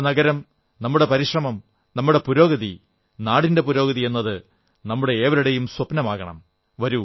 നമ്മുടെ നഗരം നമ്മുടെ പരിശ്രമം നമ്മുടെ പുരോഗതി നാടിന്റെ പുരോഗതി എന്നത് നമ്മുടെ ഏവരുടെയും സ്വപ്നമാകണം